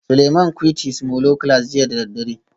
Suleiman quite his molo class jiya da daddare